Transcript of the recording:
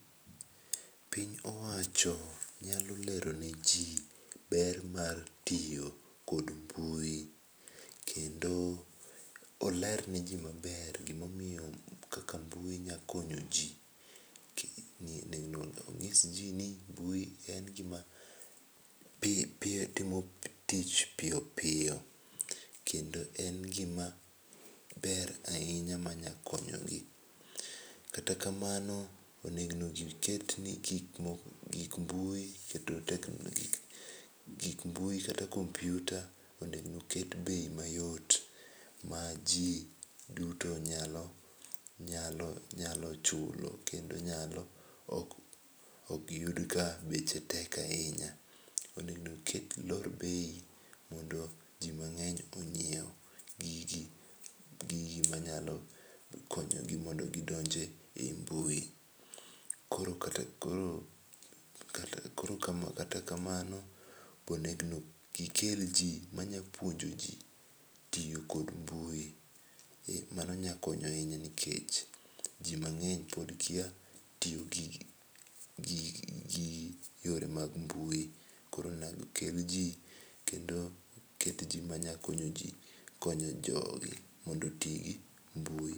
Piny owacho nyalo lero ne ji ber mar tiyo kod mbui ,kendo oler ne ii ma ber gi ma omiyo kaka mbui nyalo konyo ji ong'is ji ni mbui en gi ma timo tich piyo piyo kendo en gi ma ber ahinya ma nya konyo gi .Kata kamano onego gi ket gik moko gik mbui gik mbui kata kompyuta onego oket bei ma yot ma ji duto nyalo nyalo chulo kendo nyalo ok gi yud ka beche tek ahinya. Onego gi lor bei mondo ji mang'eny ong'iew go gi ma nyalo konyo gi mondo gi donj e mbui .Koro kata kama no onego gi kel ji ma nya puonjo ji tiyo kod mbui mano nya konyo ahinya nikech ji mang'eny pod kia tiyo gi yore mag mbui koro onego kel ji kendo kel ji ma nyalo konyo jo gi e tiyo gi mbui.